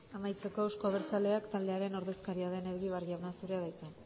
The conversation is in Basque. amaitzeko euzko abertzaleak taldearen ordezkaria den egibar jauna zure da hitza